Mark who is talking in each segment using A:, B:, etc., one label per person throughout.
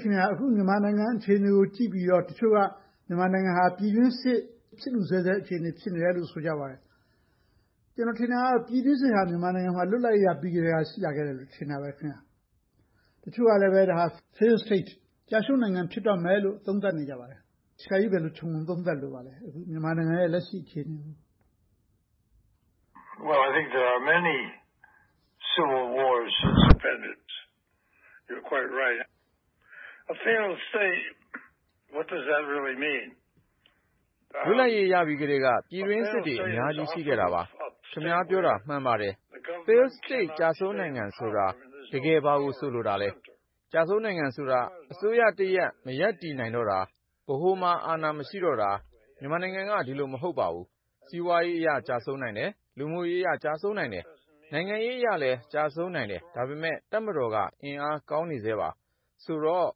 A: ခင်များ… အခု မြန်မာနိုင်ငံအခြေအနေကို ကြည့်ပြီးတော့ တချို့က မြန်မာနိုင်ငံဟာ ပြည်တွင်းစစ် ဖြစ်လု့ဆဲဆဲ ဖြစ်နေတယ်လို့ ဆိုကြပါတယ်။ ကျနော်ထင်တာတော့ ပြည်တွင်းစစ်ဟာ မြန်မာနိုင်ငံမှာ လွတ်လပ်ရေးရပြီးကတည်းက ရှိလာခဲ့တယ်လို့ ထင်တာပဲ။ တချို့ကလဲ ဒါက Failed State ကျရှုံးနိုင်ငံ ဖြစ်တော့မယ်လို့ သုံးသပ်နေကြပါတယ်။ ဆရာကြီးအနေနဲ့ အခုလက်ရှိ မြန်မာနိုင်ငံ အခြေအနေကို ဘယ်လို သုံးသပ်လိုပါသလဲ။
B: လွတ်လပ်ရေးရပြီးကတည်းက ပြည်တွင်းစစ်တွေ အများကြီး ရှိခဲ့တာပါ။ ခင်များ ပြောတာ မှန်ပါတယ်။ Failed State ကျရှုံးနိုင်ငံဆိုတာ တကယ်ဘာကို ဆိုလိုတာလဲ။ ကျရှုံးနိုင်ငံဆိုတာ အစိုးရတရပ် မရပ်တည်နိုင်တော့တာ။ ဗဟိုမှာ အာဏာ မရှိတော့တာ။ မြန်မာနိုင်ငံက ဒီလိုမဟုတ်ပါဘူး။ စီးပွားရေးအရ ကျရှုံးနိုင်တယ်။ လူမှုရေးရ ကျရှုံးနိုင်တယ်။ နိုင်ငံရေးအရလည်း ကျရှုံးနိုင်တယ်။ ဒါပေမဲ့ တပ်မတော်က အင်အားကောင်းနေဆဲပါ။ ဆိုတော့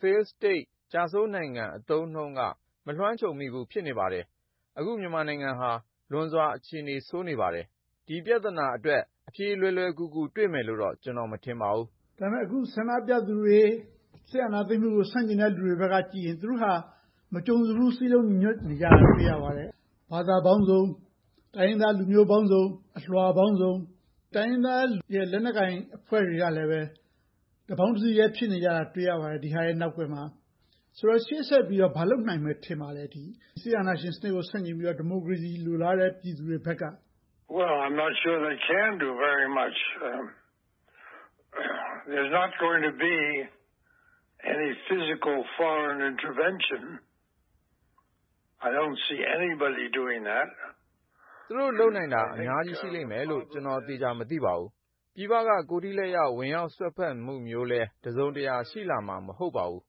B: Failed State ကျရှုံးနိုင်ငံ အသုံးအနှုန်းက မလွှမ်းခြုံမိဘူး ဖြစ်နေပါတယ်။ အခု မြန်မာနိုင်ငံဟာ လွန်စွာအခြေအနေ ဆိုးနေပါတယ်။ ဒီပြဿနာအတွက် အဖြေလွယ်လွယ်ကူကူ တွေ့မယ်လို့တော့ ကျနော် မထင်ပါဘူး။
A: ဒါပေမဲ့ အခု ဆန္ဒပြသူတွေ၊ စစ်အာဏာသိမ်းတဲ့ လူတွေဘက်ကကြည့်ရင် သူတို့ဟာ မကြုံစဖူး စည်းလုံးညီညွှတ်နေတာကို တွေ့ရတယ်။ ဘာသာပေါင်းစုံ၊ တိုင်းရင်းသားလူမျိုးပေါင်းစုံ၊ အလွှာပေါင်းစုံ၊ တိုင်းရင်းသား လက်နက်ကိုင်အဖွဲ့တွေကလည်း တပေါင်းတစည်းထဲ ဖြစ်နေတာကို တွေ့ရပါတယ်။ ဒီဟာတွေရဲ့ နောက်ကွယ်မှာ။ ဆိုတော့ ရှေ့ဆက်ပြီးတော့ ဘာတွေလုပ်နိုင်မယ် ထင်ပါသလဲ။ စစ်အာဏာရှင်စနစ်ကို ဆန့်ကျင်ပြီးတော့ ဒီမိုကရေစီ လိုလားတဲ့ ပြည်သူတွေဘက်က။
B: သူတို့လုပ်နိုင်တာ အများကြီးရှိလိမ့်မယ်လို့ ကျနော် သေချာမသိပါဘူး။ ပြည်ပက ကိုယ်ထိလက်ရောက် ဝင်ရောက်စွက်ဖက်တာမျိုးလဲ တစုံတရာ ရှိလာမှာ မဟုတ်ပါဘူး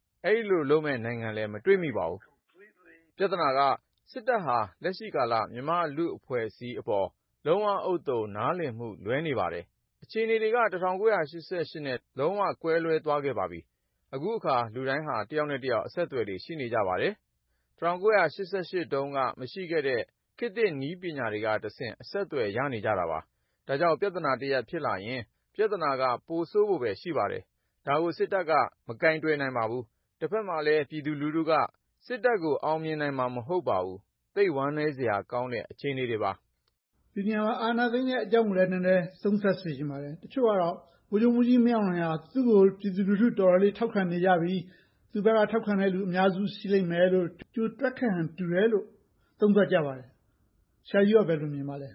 B: ။ အဲဒီလိုလုပ်မယ့် နိုင်ငံလဲ မတွေ့မိပါဘူး။ ပြဿနာက စစ်တပ်က လက်ရှိကာလ မြန်မာ့လူအဖွဲ့အစည်းအပေါ် လုံးဝဥဿုံ နားလည်မှု လွဲနေပါတယ်။ အခြေအနေက ၁၉၈၈ နဲ့ လုံးဝကွဲလွဲသွားခဲ့ပါပြီ။ အခုအခါ လူတွေက တယောက်နဲ့တယောက် အဆက်အသွယ်တွေ ရှိနေကြပါတယ်။ ၁၉၈၈ တုန်းက မရှိခဲ့တဲ့ ခေတ်သစ်နည်းပညာတွေကတဆင့် အဆက်အသွယ်တွေ ရနေကြတာပါ။ ဒါကြောင့် ပြဿနာတရပ် ဖြစ်လာရင် ပြဿနာက ပိုဆိုးဖို့ပဲ ရှိပါတယ်။ ဒါကို စစ်တပ်က မကိုင်တွယ်နိုင်ပါဘူး။ တဘက်မှာလဲ ပြည်သူလူထုက စစ်တပ်ကို အောင်မြင်နိုင်မှာ မဟုတ်ပါဘူး။ သိပ်ဝမ်းနည်းစရာကောင်းတဲ့ အခြေအနေတွေပါ။
A: ဒီနေရာမှာ အာဏာသိမ်းတဲ့အကြောင်းကိုလဲ နည်းနည်းသုံးသပ်စေချင်ပါတယ်။ တချို့က ဗိုလ်ချုပ်မှူးကြီးမင်းအောင်လှိုင်က သူကို ပြည်သူလူထု တော်တော်လေး ထောက်ခံနေကြပြီ၊ သူ့ဘက်က ထောက်ခံတဲ့လူ အများစု ရှိလိမ့်မယ်လို့ ကြိုတွက်ခဲ့ဟန် တူတယ်လို့ သုံးသပ်ကြပါတယ်။ ဆရာကြီး ဘယ်လိုမြင်ပါသလဲ။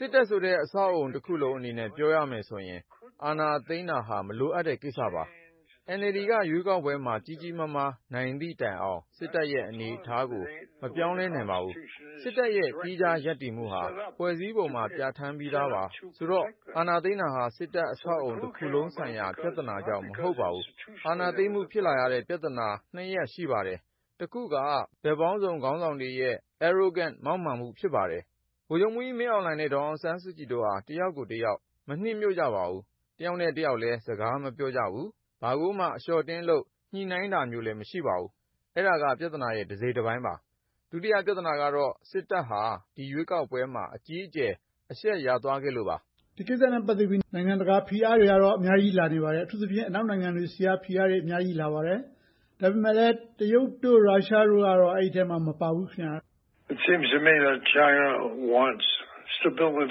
B: စစ်တပ်ဆိုတဲ့ အဆောက်အအုံတခုလုံးအနေနဲ့ ပြောရမယ်ဆိုရင် အာဏာသိမ်းတယ်ဆိုတာ လိုအပ်တဲ့ကိစ္စပါ။ NLD က ရွေးကောက်ပွဲမှာ ကြီးကြီးမားမား နိုင်သည့်တိုင်အောင် စစ်တပ်ရဲ့ အနေအထားကို မပြောင်းလဲနိုင်ပါဘူး။ စစ်တပ်ရဲ့ သီးခြားရပ်တည်မှုဟာ ဖွဲ့စည်းပုံမှာ ပြဌာန်းပြီးသာပါ။ ဆိုတော့ အာဏာသိမ်းတယ်ဆိုတာ စစ်တပ်အဆောက်အအုံဆိုင်ရာ ပြဿနာကြောင့် မဟုတ်ပါဘူး။ အာဏာသိမ်းမှု ပြဿနာ နှစ်ရပ် ရှိပါတယ်။ တစ်ခုက ဘက်ပေါင်းစုံ ခေါင်းဆောင်တွေရဲ့ Arrogance မောက်မာမှု ဖြစ်ပါတယ်။ ဗိုလ်ချုပ်မှူးကြီးမင်းအောင်လှိုင်နဲ့ ဒေါ်အောင်ဆန်းစုကြည်တို့ဟာ တစ်ယောက်ကိုတစ်ယောက် မနှစ်မြို့ကြပါဘူး။ တစ်ယောက်နဲ့တစ်ယောက်လည်း စကားမပြောကြဘူး။ ဘာကိုမှ အလျှော့အတင်းလုပ် ညှိနှိုင်းတာမျိုးလည်း မရှိပါဘူး။ အဲဒါက ပြဿနာရဲ့ တစိတ်တပိုင်းပါ။ ဒုတိယပြဿနာကတော့ စစ်တပ်ဟာ ဒီရွေးကေက်ပွဲမှာ အကြီးအကျယ် အရှက်ရသွားခဲ့လို့ပါ။
A: ဒီကိစ္စနဲ့ ပတ်သက်ပြီး နိုင်ငံတကာဖိအားတွေကတော့ အများကြီးလာနေပါတယ်။ အထူးသဖြင့် အနောက်နိုင်ငံတွေဆီက ဖိအားတွေ အများကြီးလာနေပါတယ်။ ဒါပေမဲ့လဲ တရုတ်၊ ရုရှားတို့ကတော့ အဲဒီအထဲ မပါဘူး။
B: ကျနော့်အမြင်ကတော့ တရုတ်ဟာ သူတို့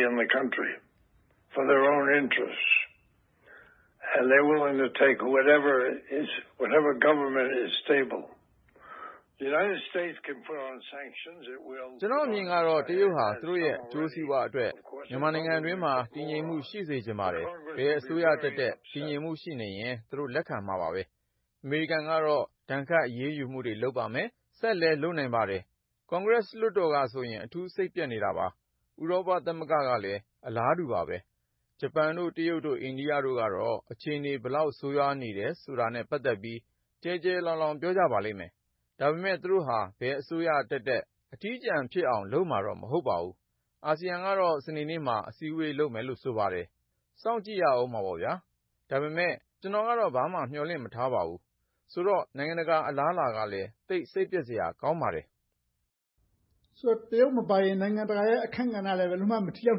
B: ရဲ့ အကျိုးစီးပွားအတွက် မြန်မာနိုင်ငံအတွင်းမှာ တည်ငြိမ်မှု ရှိစေချင်ပါတယ်။ ဘယ်အစိုးရတက်တက် တည်ငြိမ်မှု ရှိနေရင် သူတို့လက်ခံမှာပဲ။ အမေရိကန်ကတော့ ဒဏ်ခတ်အရေးယူမှု လုပ်ပါလိမ့်မယ်။ ဆက်ပြီးတော့လဲ လုပ်နိုင်ပါတယ်။ ကွန်ဂရက်လွှတ်တော်ကဆိုရင် အထူးစိတ်ပျက်နေတာပါ။ ဥရောပ သမဂ္ဂကလည်း အလားတူပါပဲ။ ဂျပန်၊ တရုတ်၊ အိန္ဒိယတို့ကတော့ အခြေအနေ ဘယ်လောက်ဆိုးဝါးနေတာနဲ့ ပတ်သက်ပြီး ကျယ်ကျယ်လောင်လောင် ပြောကြပါလိမ့်မယ်။ ဒါပေမဲ့ သူတို့ဟာ ဘယ်အစိုးရတက်တက် အထီးကျန်ဖြစ်အောင်တော့ လုပ်မှာမဟုတ်ပါဘူး။ အာဆီယံကတော့ စနေနေ့မှာ အစည်းအဝေးလုပ်မယ်လို့ ဆိုပါတယ်။ စောင့်ကြည့်ရအုံးမှာပေါ့။ ဒါပေမဲ့ ကျနော်ကတော့ ဘာမှမျှော်လင့်မထားပါဘူး။ ဆိုတော့ နိုင်ငံတကာ အလားအလာကလဲ သိပ်စိတ်ပျက်စရာ ကောင်းပါတယ်။
A: ဆိုတော့ တရုတ်မပါရင် နိုင်ငံတကာရဲ့ အခန်းကဏ္ဍကလဲ ဘယ်လိုမှ မထိရောက်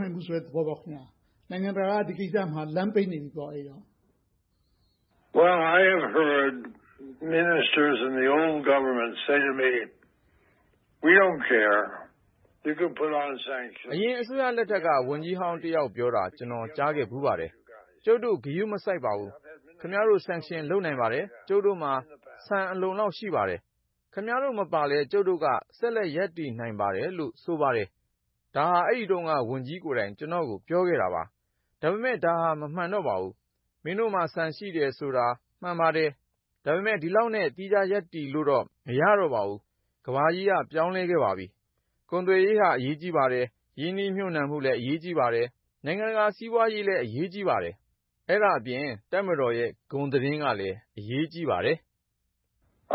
A: ဘူးဆိုတဲ့ သဘောပေါ့။ နိုင်ငံတကာက ဒီကိစ္စမှာ လမ်းပိတ်နေပြီပေါ့။
B: အရင်အစိုးရလက်ထက်က ဝန်ကြီးဟောင်းတစ်ယောက်ပြောတာ ကျနော် ကြားခဲ့ဖူးပါတယ်။ ကျုပ်တို့ ဂရုမစိုက်ပါဘူး။ ခင်များတို့ sanction လုပ်နိုင်ပါတယ်။ ကျုပ်တို့မှာ ဆန်အလုံအလောက် ရှိပါတယ်။ ခင်များတို့ မပါလဲ ကျုပ်တို့က ဆက်လက်ရပ်တည်နိုင်ပါတယ်လို့ ဆိုပါတယ်။ ဒါဟာ အဲဒီတုန်းက ဝန်ကြီးကိုယ်တိုင် ကျနော့်ကို ပြောခဲ့တာပါ။ ဒါပေမဲ့ ဒါဟာ မမှန်တော့ပါဘူး။ မင်းတို့မှာ ဆန်ရှိတယ်ဆိုတာ မှန်ပါတယ်။ ဒါပေမဲ့ ဒီလောက်နဲ့ သီးခြားရပ်တည်လို့တော့ မရတော့ပါဘူး။ ကမ္ဘာကြီးက ပြောင်းလဲခဲ့ပါပြီ။ ကုန်သွယ်ရေးဟာ အရေးကြီးပါတယ်။ ရင်းနှီးမြုပ်နှံမှုလည်း အရေးကြီးပါတယ်။ နိုင်ငံတကာ စီးပွားရေးလည်း အရေးကြီးပါတယ်။ အဲဒါအပြင် တပ်မတော်ရဲ့ ဂုဏ်သတင်းကလည်း အရေးကြီးပါတယ်။ ကျ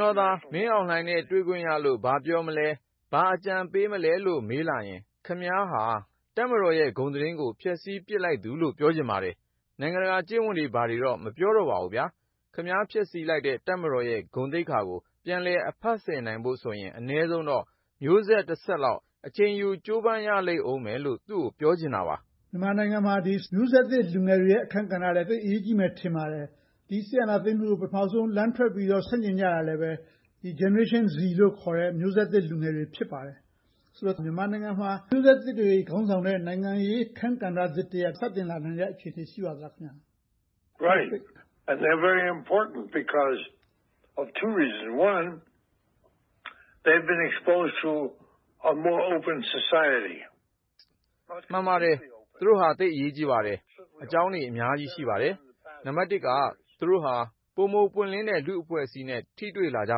B: နော်သာ မင်းအောင်လှိုင်နဲ့ တွေ့ခွင့်ရလို့ ဘာပြောမလဲ၊ ဘာအကြံပေးမလဲလို့ မေးလာရင် ခင်များဟာ တပ်မတော်ရဲ့ ဂုဏ်သတင်းကို ဖျက်ဆီးပစ်လိုက်သူလို့ ပြောချင်ပါတယ်။ နိုင်ငံတကာကျင့်ဝတ်တွေ ဘာတွေတော့ မပြောလိုပါဘူး။ ခင်များ ဖျက်ဆီးလိုက်တဲ့ တပ်မတော်ရဲ့ ဂုဏ်သိက္ခာကို ပြန်လည်အဖက်ဆယ်နိုင်ဖို့ဆိုရင် အနည်းဆုံးတော့ မျိုးဆက်တဆက်လောက်တော့ အချိန်ယူ ကြိုးပမ်းရလိမ့်အုံးမယ်လို့ သူကိုပြောချင်တာပါ။
A: မြန်မာနိုင်ငံမှာ မျိုးဆက်သစ်လူငယ်တွေရဲ့ အခန်းကဏ္ဍလည်း သိပ်အရေးကြီးမယ်လို့ ထင်ပါတယ်။ ဒီစစ်အာဏာသိမ်းမှုကို ပထမဦးဆုံး လမ်းထွက်ပြီးတော့ ဆန့်ကျင်ကြတာလဲ Generation Z လို့ခေါ်တဲ့ မျိုးဆက်သစ်လူငယ်တွေ ဖြစ်ပါတယ်။ ဆိုတော့ မြန်မာနိုင်ငံမှာ မျိုးဆက်သစ်တွေ ခေါင်းဆောင်တဲ့ နိုင်ငံရေးအခန်းကဏ္ဍသစ်တရပ် စတင်လာနိုင်တဲ့ အခြေအနေ ရှိပါသလား။
B: မှန်ပါတယ်။ သူတို့ဟာ သိပ်ကို အရေးကြီးပါတယ်။ အကြောင်းတွေ အများကြီး ရှိပါတယ်။ နံပတ်တစ်က သူတို့ဟာ ပိုမိုပွင့်လင်းတဲ့ လူ့အဖွဲ့အစည်းနဲ့ ထိတွေ့လာကြ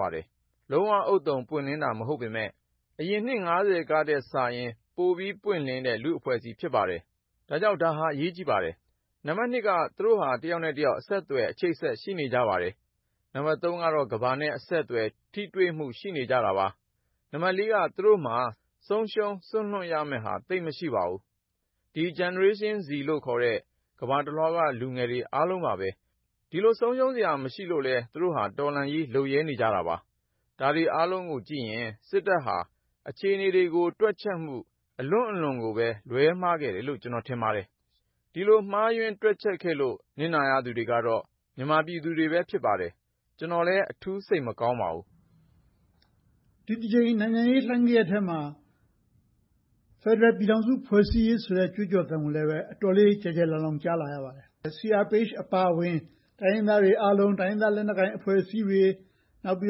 B: ပါတယ်။ လုံးဝဥဿုံပွင့်လင်းတာ မဟုတ်ပေမယ့်၊ အရင်နှစ် ထက်စာရင် ပိုပြီးပွင့်လင်းတဲ့ လူ့အဖွဲ့အစည်း ဖြစ်ပါတယ်။ ဒါကြောင့် ဒါဟာ အရေးကြီးပါတယ်။ နံပတ်နှစ်က သူတို့ဟာ တစ်ယောက်နဲ့တစ်ယောက် အဆက်အသွယ်၊ အချိတ်အဆက် ရှိနေကြပါတယ်။ နံပတ်သုံးကတော့ ကမ္ဘာနဲ့ အဆက်အသွယ်၊ ထိတွေ့မှု ရှိနေကြတာပါ။ နံပတ်လေးက သူတို့မှာ ဆုံးရှုံးစွန့်လွှတ်ရမယ့်ဟာ သိပ်မရှိပါဘူး။ ဒီ Generation Z လို့ခေါ်တဲ့ ကမ္ဘာတလွှာက လူငယ်တွေအားလုံးပါပဲ။ ဒီလို ဆုံးရှုံးစရာ မရှိလို့လဲ သူတို့ဟာ တော်လှန်ရေး လုပ်ရဲနေကြတာပါ။ ဒါတွေအားလုံးကိုကြည့်ရင် စစ်တပ်ဟာ အခြေအနေတွေကို တွက်ချက်မှု အလွန့်အလွန်ကိုပဲ လွဲမှားခဲ့တယ်လို့ ကျနော်ထင်ပါတယ်။ ဒီလို မှားယွင်းတွက်ချက်ခဲ့လို့ နစ်နာရတဲ့လူတွေကတော့ မြန်မာပြည်သူတွေပဲ ဖြစ်ပါတယ်။ ကျနော်လဲ အထူးစိတ်မကောင်းပါဘူး။
A: ဒီတကြိမ် နိုင်ငံရေးလှိုင်းဂယက်ထဲမှာ ဖယ်ဒရယ်ပြည်ထောင်စု ဖွဲ့စည်းရေးဆိုတဲ့ ကြွေးကြော်သံကိုလည်း အတော်လေး ကျယ်ကျယ်လောင်လောင် ကြားနေရပါတယ်။ CRPH အပါအဝင် တိုင်းရင်းသားတွှေအားလုံး၊ တိုင်းရင်းသား လက်နက်ကိုင်အဖွဲ့အစည်းတွေ၊ နောက်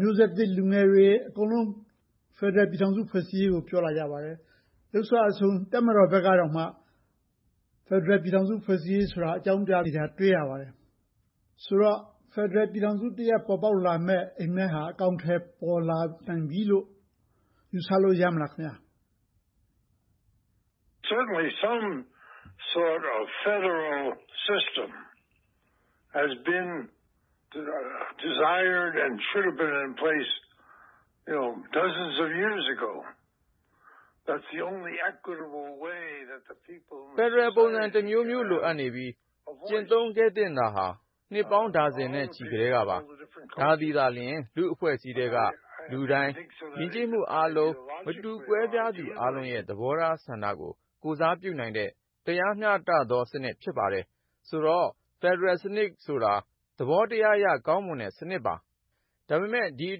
A: မျိုးဆက်သစ်လူငယ်တွေ အကုန်လုံး ဖယ်ဒရယ်ပြည်ထောင်စု ဖွဲ့စည်းရေးကို ပြောလာကြပါတယ်။ ယုတ်စွအဆုံး တပ်မတော်ဘက်ကတောင်မှ ဖယ်ဒရယ်ပြည်ထောင်စု ဖွဲ့စည်းရေးကို အကြောင်းပြနေတာကို တွေ့ရပါတယ်။ ဆိုတော့ ဖယ်ဒရယ်ပြည်ထောင်စုတရပ် ပေါ်ပေါက်လာမယ့် အိပ်မက်ဟာ အကောင်အထည် ပေါ်လာပြီလို့ ယူဆလို့ ရပြီလား။
B: ဖယ်ဒရယ်ပုံစံတမျိုးမျိုး လိုအပ်နေပြီ ကျင့်သုံးခဲ့သင့်တာဟာ နှစ်ပေါင်းဒါဇင်နဲ့ချီကတည်းပါ။ ဒါသည်သာလျှင် လူ့အဖွဲ့အစည်းထဲက လူတိုင်း။ ယဉ်ကျေးမှုအားလုံး သဘောထားဆန္ဒကို ကိုယ်စားပြုနိုင်တဲ့ တရားမျှတသောစနစ် ဖြစ်ပါတယ်။ ဆိုတော့ ဖယ်ဒရယ်စနစ်ဆိုတာ သဘောတရားအရ ကောင်းမွန်တဲ့စနစ်ပါ။ ဒါပေမဲ့ ဒီအ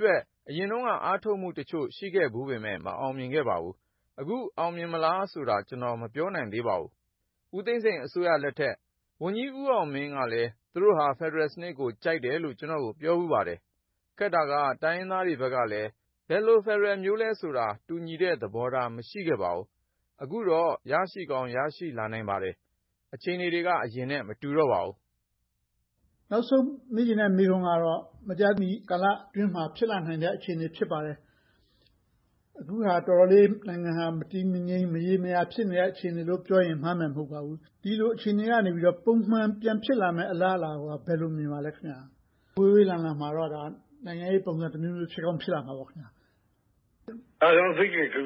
B: တွက် အရင်တုန်းက အားထုတ်မှုတချို့ ရှိခဲ့ဖူးပေမယ့် မအောင်မြင်ခဲ့ပါဘူး။ အခု အောင်မြင်မလားဆိုတာ ကျနော် မပြောနိုင်သေးပါဘူး။ ဦးသိန်းစိန်အစိုးရလက်ထက် ဝန်ကြီးဦးအောင်မင်းကလဲ သူတို့ဟာ ဖယ်ဒရယ်စနစ်ကို ကြိုက်တယ်လို့ ကျနော့်ကို ပြောဖူးပါတယ်။ ခက်တာက တိုင်းရင်းသားတွေဘက်ကလဲ ဘယ်လိုဖယ်ဒရယ်မျိုးလဲဆိုတာ တူညီတဲ့သဘောထား မရှိခဲ့ပါဘူး။ အခုတော့ ရရှိကောင်း ရရှိလာနိုင်ပါတယ်။ အခြေအနေတွေက အရင်နဲ့ မတူတော့ပါဘူး။
A: နောက်ဆုံးမေးချင်တဲ့ မေးခွန်းကတော့ မကြာမီကာလအတွင်းမှာ ဖြစ်လာနိုင်တဲ့ အခြေအနေ ဖြစ်ပါတယ်။ အခုဟာ တော်တော်လေး နိုင်ငံဟာ မတည်မငြိမ် မရေမရာ ဖြစ်နေတဲ့ အခြေအနေလို့ ပြောရင် မှားမယ်မဟုတ်ပါဘူး။ ဒီလိုအခြေအနေကနေ ပုံမှန်ပြန်ဖြစ်လာမယ့် အလားအလာကို ဘယ်လိုမြင်ပါသလဲ။ ဝေးဝေးလံလံမှာတော့ နိုင်ငံရေးပုံစံတမျိုးမျိုး ဖြစ်ကောင်းဖြစ်လာနိုင်မှာပေါ့။
B: ပုံမှန်အခြေအနေကိ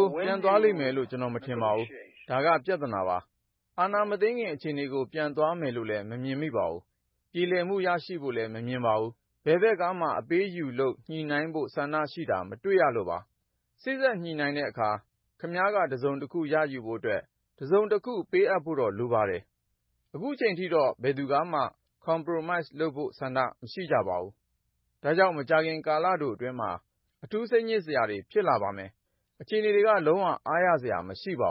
B: ု ပြန်သွားလိမ့်မယ်လို့ ကျနော် မထင်ပါဘူး။ ဒါက ပြဿနာပါ။ အာဏာမသိမ်းခင် အခြေအနေကို ပြန်သွားမယ်လို့လဲ ကျနော် မမြင်မိပါဘူး။ ပြေလည်မှု ရရှိဖို့လဲ မမြင်ပါဘူး။ ဘယ်ဘက်ကမှ အပေးအယူလုပ် ညှိနှိုင်းဖို့ ဆန္ဒရှိတာကို မတွေ့ရပါဘူး။ စေ့စပ်ညှိနှိုင်းတဲ့အခါ ခင်များက တစုံတရာ ရယူဖို့အတွက် တစုံတခု ပေးအပ်ဖို့တော့ လိုပါတယ်။ အခုအချိန်အထိတော့ ဘယ်သူကမှ Compromise လုပ်ဖို့ဆန္ဒ မရှိကြပါဘူး။ ဒါကြောင့် မကြာခင်ကာလတိုအတွင်းမှာ အထူးစိတ်ညစ်စရာတွေ ဖြစ်လာပါမယ်။ အခြေအနေတွေက လုံးဝအားရစရာ မရှိပါ